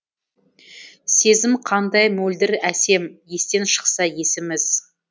сезім қандай мөлдір әсем естен шықса есіміз